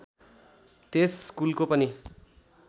त्यस स्कुलको पनि